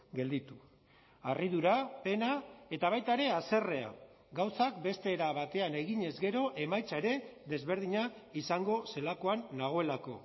gelditu harridura pena eta baita ere haserrea gauzak beste era batean eginez gero emaitza ere desberdina izango zelakoan nagoelako